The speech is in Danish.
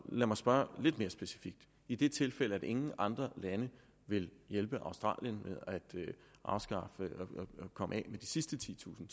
lad mig spørge lidt mere specifikt i det tilfælde at ingen andre lande vil hjælpe australien med at komme af med de sidste titusind